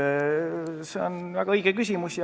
See on väga õige küsimus.